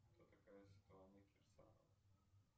кто такая светлана кирсанова